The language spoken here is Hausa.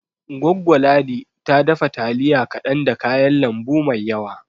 Goggo Ladi ta dafa taliya kaɗan da kayan lambu mai yawa